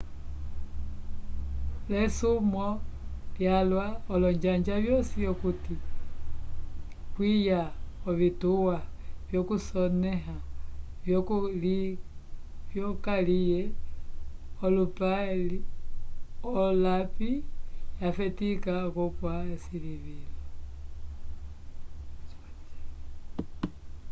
l'esumwo lyalwa olonjanja vyosi okuti kwiya ovituwa vyokusonẽha vyokaliye olapi yafetika okupwa esilivilo